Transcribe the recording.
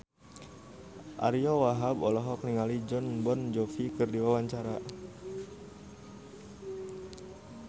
Ariyo Wahab olohok ningali Jon Bon Jovi keur diwawancara